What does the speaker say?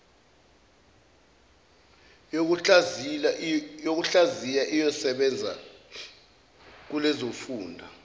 yokuhlaziya iyosebenza kulezofunda